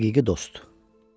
Həqiqi dost.